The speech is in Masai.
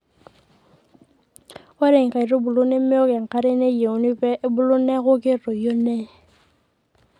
ore inkaitubul nemeok enkare nayieuni pee ebulu neeku ketoyu nee